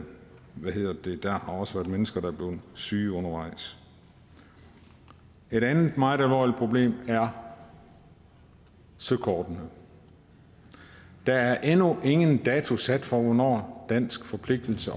der har også været mennesker der er blevet syge undervejs et andet meget alvorligt problem er søkortene der er endnu ingen dato sat for hvornår dansk forpligtelse